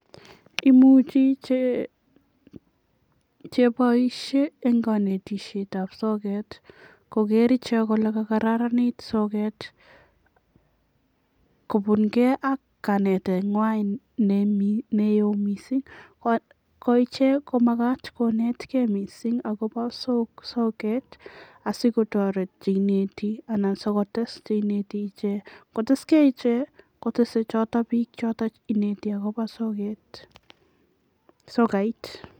Kimuchi che chepoishe eng kanetisietab soket kogeer ichek kole kakararanit soket kobunkei ak kanetengwai neo mising, ko ichek komakat konetkei mising akobo soket asikotoret che ineti anan sikotes che ineti ichek. Ngo teskei ichek kotese choto biik che ineti akobo soket, sokait.